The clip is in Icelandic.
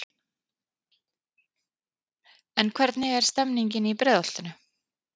En hvernig er stemmningin í Breiðholtinu?